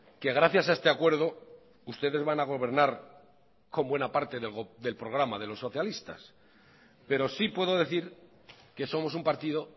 que gracias a este acuerdo ustedes van a gobernar con buena parte del programa de los socialistas pero sí puedo decir que somos un partido